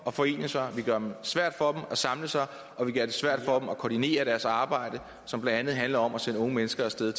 at forene sig vi gør det svært for dem at samles og vi gør det svært for dem at koordinere deres arbejde som blandt andet handler om at sende unge mennesker af sted